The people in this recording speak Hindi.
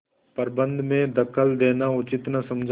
प्रबंध में दखल देना उचित न समझा